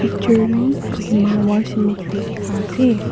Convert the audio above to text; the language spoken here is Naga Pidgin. picture tu kohima war cemetery dikhaase.